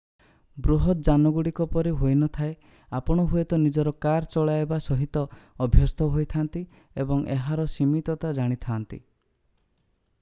ବୃହତ ଯାନଗୁଡ଼ିକ ପରି ହୋଇନଥାଏ ଆପଣ ହୁଏତ ନିଜର କାର୍ ଚଳାଇବା ସହିତ ଅଭ୍ୟସ୍ତ ହୋଇଥାନ୍ତି ଏବଂ ଏହାର ସୀମିତତା ଜାଣିଥାନ୍ତି